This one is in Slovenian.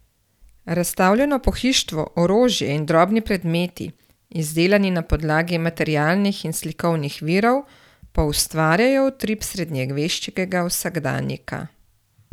Razstavljeno pohištvo, orožje in drobni predmeti, izdelani na podlagi materialnih in slikovnih virov, poustvarjajo utrip srednjeveškega vsakdanjika.